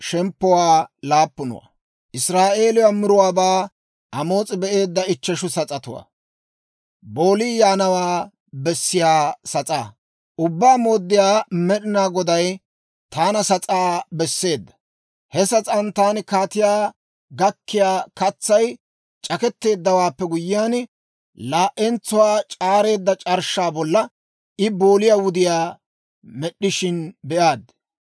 Ubbaa Mooddiyaa Med'inaa Goday taana sas'aa besseedda. He sas'aan taani kaatiyaa gakkiyaa katsay c'aketteeddawaappe guyyiyaan, laa"entsuwaa c'aareeda c'arshshaa bolla I booliyaa wudiyaa med'd'ishin be'aad.